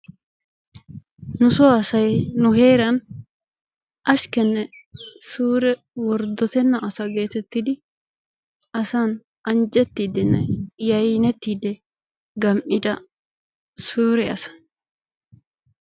Nusoo asay nu heeran ashikenne suure worddotenna asa getettidi asan anjjetidiine yayneettidi gem"ida suure asa.